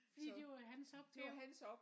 Fordi det var hans opgave